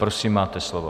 Prosím, máte slovo.